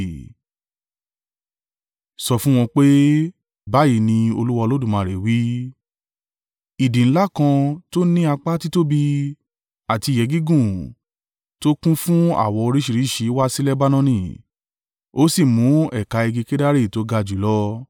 Sọ fún wọn pé, ‘Báyìí ni Olúwa Olódùmarè wí, idì ńlá kan tó ní apá títóbi àti ìyẹ́ gígùn tó kún fún àwọ̀ oríṣìíríṣìí wa si Lebanoni, ó sì mu ẹ̀ka igi kedari tó ga jùlọ,